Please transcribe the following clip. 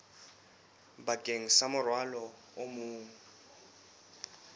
bakeng sa morwalo o mong